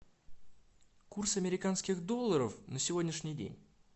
курс американских долларов на сегодняшний день